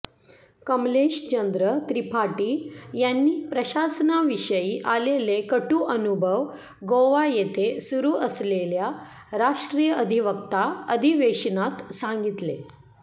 कमलेशचंद्र त्रिपाठी यांनी प्रशासनाविषयी आलेले कटु अनुभव गोवा येथे सुरु असलेल्या राष्ट्रीय अधिवक्ता अधिवेशनात सांगितले